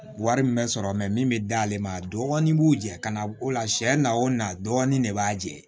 Wari min bɛ sɔrɔ min bɛ d'ale ma a dɔɔnin b'u jɛn ka na o la sɛ na o na dɔɔnin de b'a jɛ